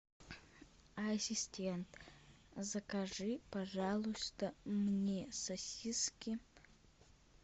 ассистент закажи пожалуйста мне сосиски